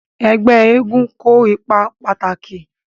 Ẹgbẹ́ eégún kó ipa pàtàkì